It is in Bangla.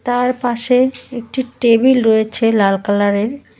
তার পাশে একটি টেবিল রয়েছে লাল কালারের।